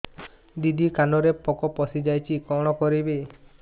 ଦିଦି କାନରେ ପୋକ ପଶିଯାଇଛି କଣ କରିଵି